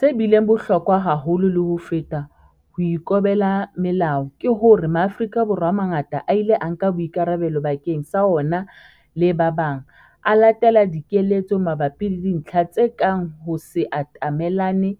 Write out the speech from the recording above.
Se bileng bohlokwa haholo le ho feta ho ikobela melao, ke hore Maafrika Borwa a mangata a ile a nka boikarabelo bakeng sa ona le ba bang, a latela dikeletso mabapi le dintlha tse kang ho se atamellane